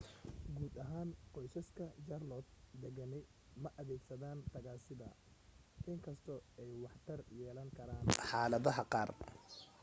guud ahaan qoysaska jaarloot degani ma adeegsadaaan tagaasida in kastoo ay waxtar yeelan karaan xaaladaha qaar